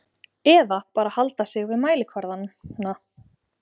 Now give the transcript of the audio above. Eða bara halda sig við mælikvarðana?